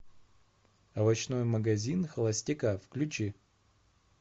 овощной магазин холостяка включи